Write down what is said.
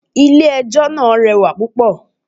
Ilẹ̀ ẹjọ́ náà rẹwà púpọ̀.